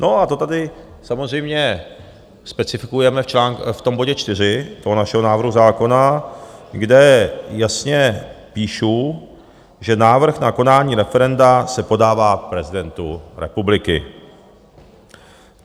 No a to tady samozřejmě specifikujeme v tom bodě 4, toho našeho návrhu zákona, kde jasně píšu, že návrh na konání referenda se podává prezidentu republiky.